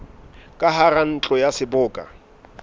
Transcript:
ka hara ntlo ya seboka